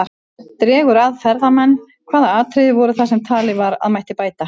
Dregur að ferðamenn Hvaða atriði voru það sem talið var að mætti bæta?